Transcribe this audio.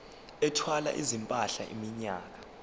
ethwala izimpahla iminyaka